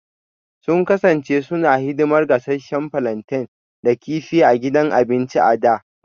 Sun kasance suna hidimar gasasshen plantain da kifi a gidan abinci a da